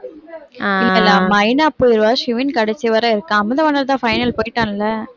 மைனா போயிருவா ஷிவின் கடைசிவர இருக்கான் அமுதவாணன்தான் final போயிட்டான்ல